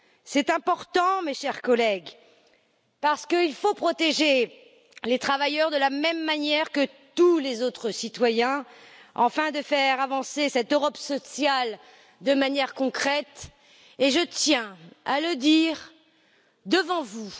C'est important, mes chers collègues, parce qu'il faut protéger les travailleurs de la même manière que tous les autres citoyens, afin de faire avancer cette Europe sociale de manière concrète, et je tiens à le dire devant vous.